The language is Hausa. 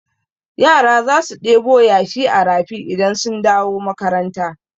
Yara za su ɗebo yashi a rafi idan sun dawo makaranta.